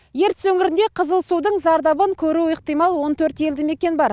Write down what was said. ертіс өңірінде қызыл судың зардабын көруі ықтимал он төрт елді мекен бар